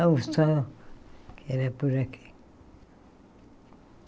só que era por aqui.